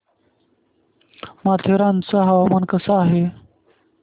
माथेरान चं हवामान कसं आहे